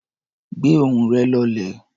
Gbé ohùn rẹ̀ lọlẹ̀.